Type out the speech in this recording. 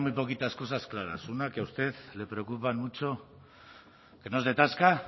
poquitas cosas claras una que a usted le preocupan mucho que no es tasca